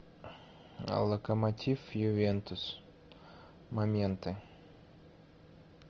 локомотив ювентус моменты